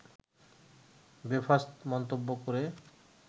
বেফাঁস মন্তব্য করে